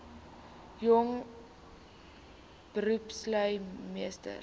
jong beroepslui meesters